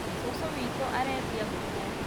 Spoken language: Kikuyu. Cũcũ witũ arendĩa ngũkũ